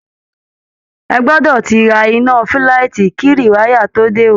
Ẹ gbọdọ̀ ti ra iná fúlaìtì kí rìwáyà tó dé o